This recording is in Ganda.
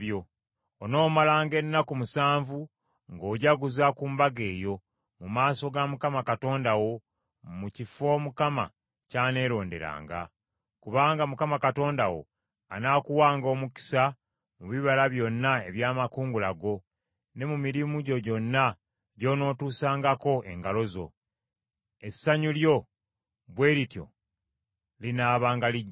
Onoomalanga ennaku musanvu ng’ojaguza ku Mbaga eyo mu maaso ga Mukama Katonda wo mu kifo Mukama ky’aneeronderanga. Kubanga Mukama Katonda wo anaakuwanga omukisa mu bibala byonna eby’amakungula go, ne mu mirimu gyo gyonna gy’onootuusangako engalo zo, essanyu lyo bwe lityo linaabanga lijjuvu.